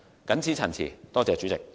謹此陳辭，謝謝主席。